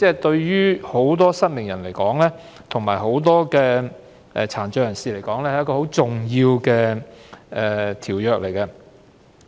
對於眾多失明及殘障人士而言，《馬拉喀什條約》是一項很重要的條約。